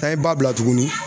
An ye ba bila tuguni